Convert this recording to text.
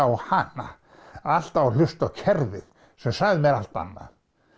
á hana alltaf að hlusta á kerfið sem sagði mér allt annað